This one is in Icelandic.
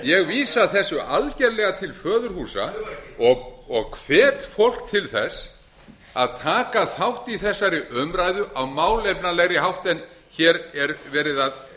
ég vísa þessu algerlega til föðurhúsa dugar ekki og hvet fólk til þess að taka þátt í þessari umræðu á málefnalegri hátt en hér er verið að